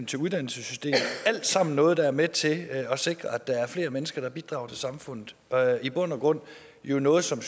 til uddannelsessystemet det alt sammen noget der er med til at sikre at der er flere mennesker der bidrager til samfundet i bund og grund er det noget som